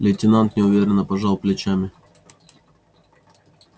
лейтенант неуверенно но пожал плечами